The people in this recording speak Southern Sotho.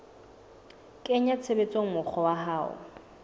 kenya tshebetsong mokgwa wa ho